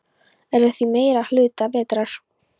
Er að því meiri hluta vetrar.